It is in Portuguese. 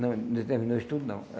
Não ainda terminou o estudo, não.